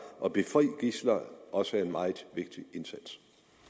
og befri gidsler også er en meget vigtig indsats